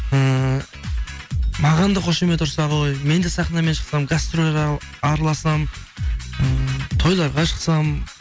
ыыы маған да қошемет ұрса ғой мен де сахнамен шықсам гастроль араласам ыыы тойларға шықсам